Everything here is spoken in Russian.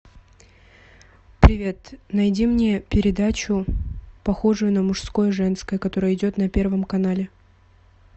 привет найди мне передачу похожую на мужское женское которая идет на первом канале